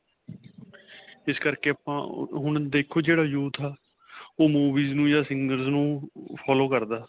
ਇਸ ਕਰਕੇ ਆਪਾਂ ਹੁਣ ਦੇਖੋ, ਜਿਹੜਾ youth ਹੈ, ਓਹ movies ਨੂੰ ਜਾਂ singers ਨੂੰ follow ਕਰਦਾ.